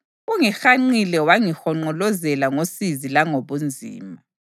Ungihanqile wangihonqolozela ngosizi langobunzima.